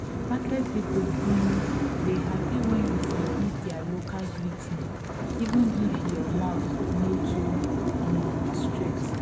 market people um dey happy when you sabi their local greeting even if your mouth no too um straight